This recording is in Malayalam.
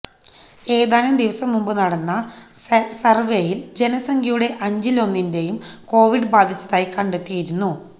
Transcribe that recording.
ഏതാനും ദിവസം മുമ്പ് നടന്ന സര്വെയില് ജനസംഖ്യയുടെ അഞ്ചിലൊന്നിനെയും കൊവിഡ് ബാധിച്ചതായി കണ്ടെത്തിയിരുന്നു